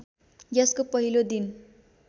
यसको पहिलो दिन